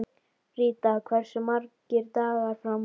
Ríta, hversu margir dagar fram að næsta fríi?